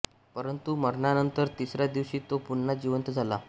परंतु मरणानंतर तिसऱ्या दिवशी तो पुन्हा जिवंत झाला